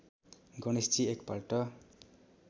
गणेशजी एक पल्ट